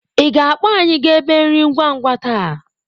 Ị ga-akpọ anyị gaa ebe nri ngwa ngwa taa?